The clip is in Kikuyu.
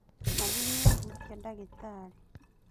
Nathi nĩahutia ndagĩtarĩ